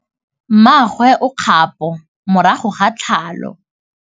Mmagwe o kgapô morago ga tlhalô.